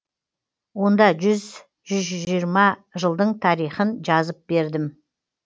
онда жүз жүз жиырма жылдың тарихын жазып бердім